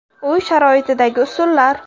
Uy sharoitidagi usullar.